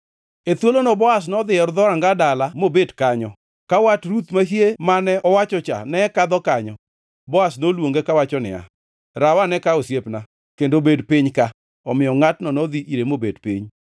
E thuolono Boaz nodhi e dhoranga dala mobet kanyo. Ka wat Ruth mahie mane owachocha ne kadho kanyo, Boaz noluonge kawacho niya, “Rawane ka, osiepna, kendo bed piny ka.” Omiyo ngʼatno nodhi ire mobet piny.